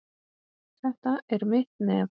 Þetta er mitt nef.